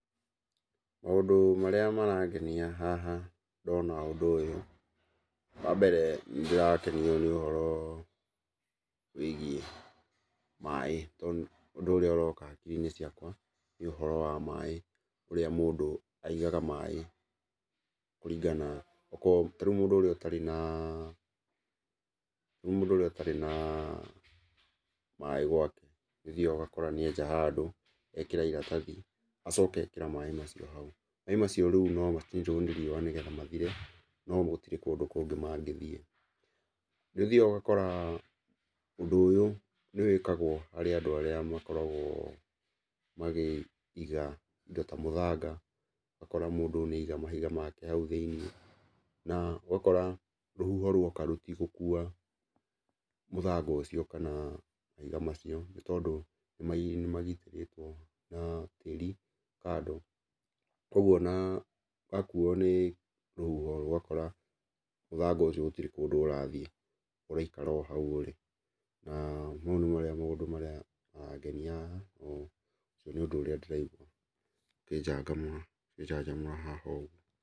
Maũndũ marĩa marangenia haha ndona ũndũ ũyũ, wa mbere nĩndĩrakenio nĩ ũhoro wĩgiĩ maĩ tondũ ũndũ ũrĩa ũroka hakiri-inĩ ciakwa, nĩ ũhoro wa maĩ ũrĩa mũndũ aigaga maĩ kũringana, okorwo, ta rĩu mũndũ ũrĩa ũtarĩ na ta rĩu mũndũ ũrĩa ũtarĩ na maĩ gwake, nĩ ũthiaga ũgakora nĩenja handũ, ekĩra iratathi, acoka ekĩra maĩ macio hau. Maĩ macio rĩu nomacinirwo nĩ riũa nĩgetha mathire, no gũtirĩ kũndũ kũngĩ mangĩthiĩ. Nĩũthiaga ũgakora ũndũ ũyũ nĩwĩkagwo harĩ andũ arĩa makoragwo makĩiga indo ta mũthanga, ũgakora mũndũ nĩaiga mahiga make hau thĩiniĩ, na ũgakora rũhuho ruoka rũtigũkua mũthanga ũcio kana mahiga macio nĩtondũ nĩmagitĩrĩtwona na tĩri kando, kuoguo ona wakuo nĩ rũhuho ũgakora mũthanga ũcio gũtirĩ kũndũ ũrathiĩ, ũraikara o hau ũrĩ na mau nĩmarĩa maũndũ marĩa marangenia haha, na ũcio nĩ ũndũ ũrĩa ndĩraigua ũkĩnjangamũra ũkĩnjanjamũra haha ũguo.